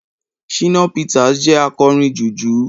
shina peters jẹ akorín jùjú